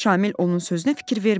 Şamil onun sözünə fikir vermədi.